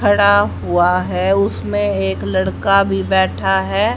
खड़ा हुआ है उसमें एक लड़का भी बैठा है।